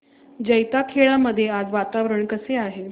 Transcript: जैताखेडा मध्ये आज वातावरण कसे आहे